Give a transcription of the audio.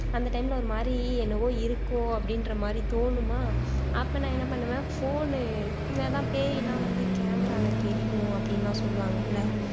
அந்த time ல ஒரு மாதிரி என்னவோ இருக்கோ அப்படின்ற மாதிரி தோணுமா அப்போ நான் என்ன பண்ணூவேன் phone அதான் இந்த பேயெல்லாம் இந்த camera ல தெரியும் அப்படின்னு எல்லாம் சொல்லுவாங்கல்ல